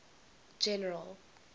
general